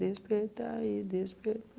Despertai e